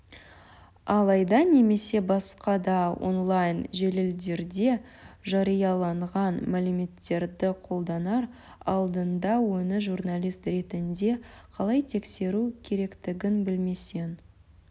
алайда немесе басқа да онлайн желілерде жарияланған мәліметтерді қолданар алдында оны журналист ретінде қалай тексеру керектігін білмесең